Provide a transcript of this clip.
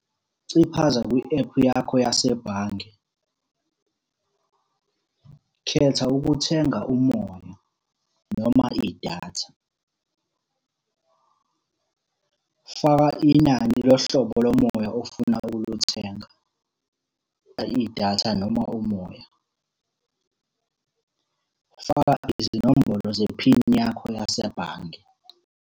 Ciphaza kwi-ephu yakho yasebhange. Khetha ukuthenga umoya noma idatha. Faka inani lohlobo lomoya ofuna ukulithenga, idatha noma umoya. Faka izinombolo zephini yakho yasebhange.